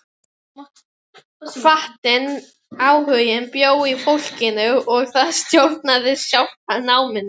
Hvatinn, áhuginn bjó í fólkinu og það stjórnaði sjálft náminu.